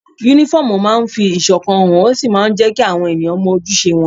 Únífọ́ọ̀mù máa ń fi ìṣọ̀kan hàn, ó sì máa ń jẹ́ kí àwọn èèyàn mọ ojúṣe wọn